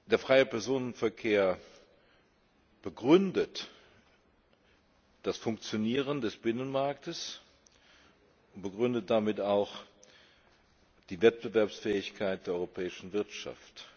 Der freie Personenverkehr begründet das Funktionieren des Binnenmarktes und begründet damit auch die Wettbewerbsfähigkeit der europäischen Wirtschaft.